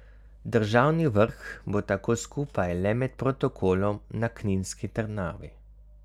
Državni vrh bo tako skupaj le med protokolom na kninski trdnjavi.